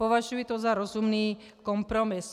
Považuji to za rozumný kompromis.